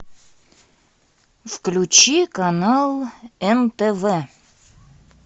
включи канал нтв